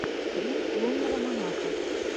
стрим лунного монаха